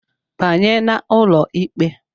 Banye n'ụlọ ikpe!